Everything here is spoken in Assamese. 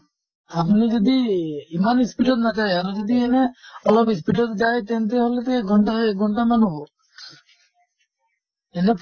আপুনি যদি ই ইমান speed ত নাযায় আৰু যদি এনে অলপ speed ত যায় তেন্তে হʼলেতো এক ঘন্টা এক ঘন্টা মান হʼব। এনে